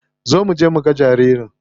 Zo muje muga jariri.